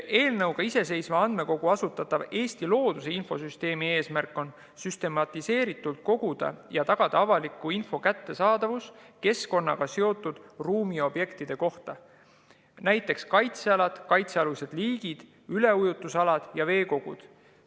Eelnõuga iseseisva andmekoguna asutatava Eesti looduse infosüsteemi eesmärk on süstematiseeritult koguda avalikku infot keskkonnaga seotud ruumiobjektide kohta ja tagada selle kättesaadavus, näiteks kaitsealad, kaitsealused liigid, üleujutusalad ja veekogud.